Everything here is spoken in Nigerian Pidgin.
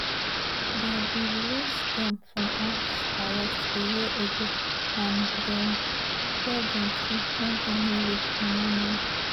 dem bin release dem from house arrest a year ago and dem tell dem say make dem no leave romania